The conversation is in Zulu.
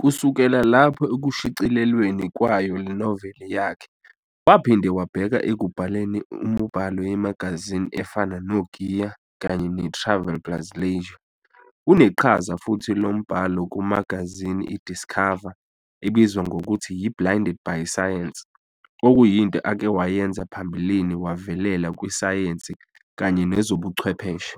Kusukela lapho ekushicililweni kwayo lenoveli yakhe, waphinde wabheka ekubhaleni umibhalo yemagazini efana no-"GEAR" kanye ne-"Travel plus Leisure", uneqhaza futhi lombhalo kumagazini i-"Discover" ebizwa ngokuthi yi "Blinded by Science", okuyinto akewayenza phambilini wavelela kwi-sayensi kanye nezobuchwepheshe.